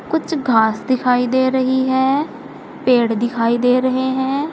कुछ घास दिखाई दे रही है पेड़ दिखाई दे रहे हैं।